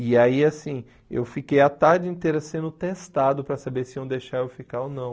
E aí, assim, eu fiquei a tarde inteira sendo testado para saber se iam deixar eu ficar ou não.